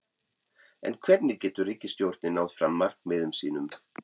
En hvernig getur ríkisstjórnin náð fram markmiðum sínum?